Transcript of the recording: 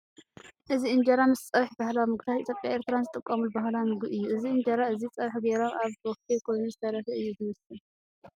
እዚ ኢንጀራ ምስ ጸብሒ ባህላዊ ምግብታት ኢትዮጵያን ኤርትራያን ዝጥቀሙሉ ባህላዊ ምግቢ እዩ ።እዚ ኢንጀራ እዚ ፀብሒ ገይሮም አብ ቦፊ ኮይኑ ዝተረፈ ኢዩ ዝመስል ።